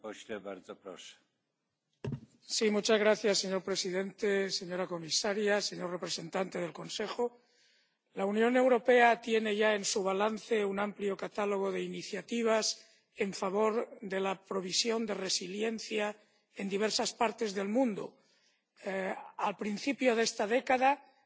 Señor presidente, señora comisaria, señor representante del Consejo, la Unión Europea tiene ya en su balance un amplio catálogo de iniciativas en favor de la provisión de resiliencia en diversas partes del mundo al principio de esta década reaccionando ante las crisis alimentarias